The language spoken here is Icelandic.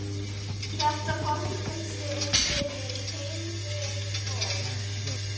Þetta fangelsi er fyrir heilbrigt fólk.